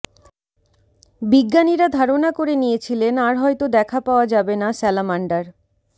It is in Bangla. বিজ্ঞানীরা ধারণা করে নিয়েছিলেন আর হয়তো দেখা পাওয়া যাবে না স্যালামান্ডার